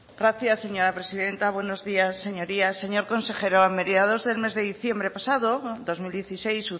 gracias señora presidenta buenos días señorías señor consejero a mediados del mes de diciembre pasado dos mil dieciséis